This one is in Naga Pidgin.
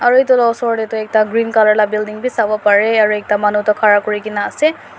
aru etu laga osor tae toh ekta green colour la building vi savo parey aru ekta manu toh khara kurina ase.